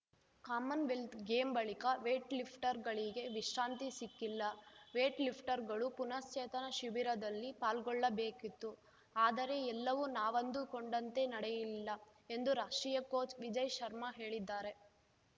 Commonwealth game ಬಳಿಕ ವೇಟ್‌ಲಿಫ್ಟರ್‌ಗಳಿಗೆ ವಿಶ್ರಾಂತಿ ಸಿಕ್ಕಿಲ್ಲ ವೇಟ್‌ಲಿಫ್ಟರ್‌ಗಳು ಪುನಶ್ಚೇತನ ಶಿಬಿರದಲ್ಲಿ ಪಾಲ್ಗೊಳ್ಳಬೇಕಿತ್ತು ಆದರೆ ಎಲ್ಲವೂ ನಾವಂದುಕೊಂಡಂತೆ ನಡೆಯಲಿಲ್ಲ ಎಂದು ರಾಷ್ಟ್ರೀಯ ಕೋಚ್‌ ವಿಜಯ್‌ ಶರ್ಮಾ ಹೇಳಿದ್ದಾರೆ